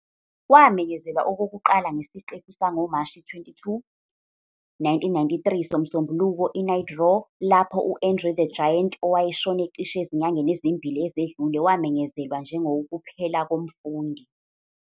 Kwamenyezelwa okokuqala ngesiqephu sangoMashi 22, 1993 "soMsombuluko Night Raw" lapho u-André the Giant, owayeshone cishe ezinyangeni ezimbili ezedlule, wamenyezelwa njengowukuphela komfundi.